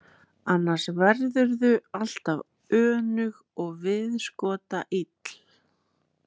Annars verðurðu alltaf önug og viðskotaill.